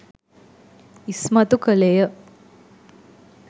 ඉස්මතු කළේ ය.